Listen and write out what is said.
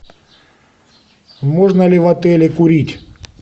можно ли в отеле курить